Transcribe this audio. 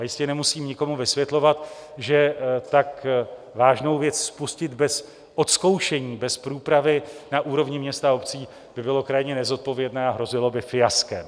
A jistě nemusím nikomu vysvětlovat, že tak vážnou věc spustit bez odzkoušení, bez průpravy na úrovni měst a obcí, by bylo krajně nezodpovědné a hrozilo by fiaskem.